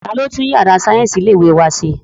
Ta ni ó tún yàrá sáyẹ́ǹsì ilé ìwé wa ṣe?